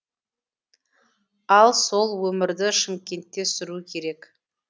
ал сол өмірді шымкентте сүру керек